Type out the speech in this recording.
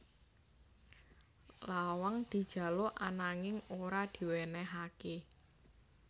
Lawang dijaluk ananging ora diwènèhaké